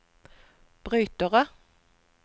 brytere